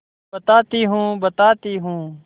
बताती हूँ बताती हूँ